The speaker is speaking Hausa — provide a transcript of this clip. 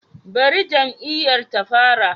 Bari jam'iyyar ta fara